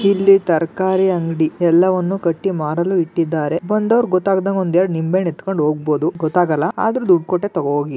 ಇಲ್ಲಿ ತರಕಾರಿ ಅಂಗಡಿ ಎಲ್ಲವನ್ನು ಕಟ್ಟಿ ಮಾರಲು ಇಟ್ಟಿದ್ದಾರೆ ಬಂದವರು ಗೊತ್ತಾಗದಂಗೆ ಒಂದು ಎರೆಡು ನಿಂಬೆಹಣ್ಣು ಎತ್ತುಕೊಂಡು ಹೋಗಬಹುದು ಗೊತ್ತಾಗಲ್ಲ ಅದರು ದುಡ್ಡು ಕೊಟ್ಟೆ ತಗೋ ಹೋಗಿ.